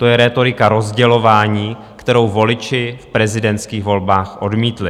To je rétorika rozdělování, kterou voliči v prezidentských volbách odmítli.